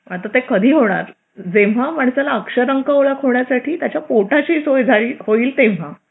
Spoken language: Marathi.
आता ते कधी होणार? जेव्हा माणसाला अक्षर अंक ओळख होण्यासाठी त्याच्या पोटाची सोय होईल तेव्हा